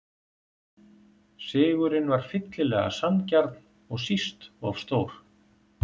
Sigurinn var fyllilega sanngjarn og síst of stór.